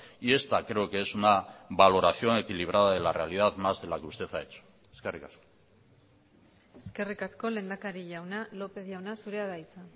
y esta creo que es una valoración equilibrada de la realidad más de la que usted ha hecho eskerrik asko eskerrik asko lehendakari jauna lópez jauna zurea da hitza